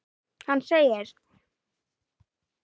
Hann segir